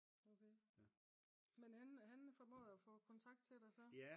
men han formåede at få kontakt til dig så?